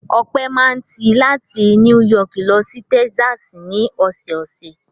Ọpẹ́ máa ń ti láti Núì Yọọkì lọ sí Texas ní ọ̀sẹ̀ẹ̀sẹ̀.